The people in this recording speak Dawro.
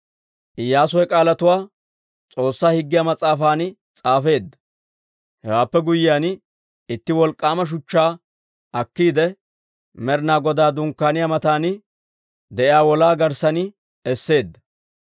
Iyyaasu he k'aalatuwaa S'oossaa Higgiyaa mas'aafan s'aafeedda. Hewaappe guyyiyaan, itti wolk'k'aama shuchchaa akkiide, Med'ina Godaa Dunkkaaniyaa mataan de'iyaa wolaa garssan esseedda.